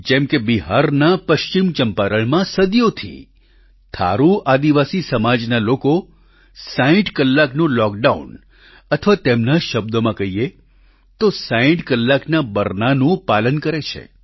જેમ કે બિહારના પશ્ચિમ ચંપારણમાં સદીઓથી થારૂ આદિવાસી સમાજના લોકો 60 કલાકનું લોકડાઉન અથવા તેમના જ શબ્દોમાં કહીએ તો 60 કલાકના બરનાનું પાલન કરે છે